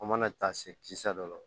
An mana taa se kisa dɔ la